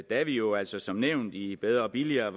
da vi jo altså som nævnt i bedre og billigere